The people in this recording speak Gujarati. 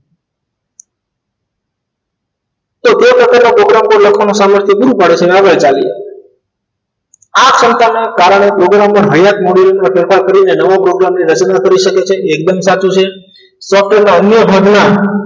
તો બે પ્રકાર નો program લખવાનું પૂરું કરે છે અને સમસ્ત આગડ ચાલી જાય છે આ સંપણ ના કારણે program ના હાઇયાત મોઢું કઈ પણ કરી ને નવો program ને રચના કરી સકે છે એકદમ સાચું છે ડોક્ટર ના અન્ય ભાગ ના